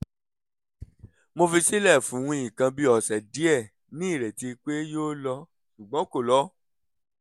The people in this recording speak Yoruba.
mo fi sílẹ̀ fún nǹkan bí ọ̀sẹ̀ díẹ̀ ní ìrètí pé yóò lọ ṣùgbọ́n kò lọ